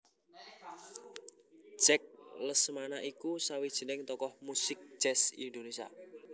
Jack Lesmana iku sawijining tokoh muzik jazz Indonésia